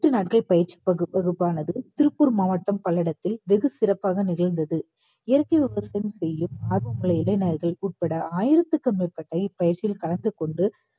எட்டு நாட்கள் பயிற்சி வகுப்பு~ வகுப்பானது திருப்பூர் மாவட்டம் பல்லடத்தில் வெகு சிறப்பாக நிகழ்ந்தது. இயற்கை விவசாயம் செய்யும் ஆர்வங்கள் உட்பட ஆயிரத்துக்கு மேற்பட இப்பயிற்சியில் கலந்து கொண்டு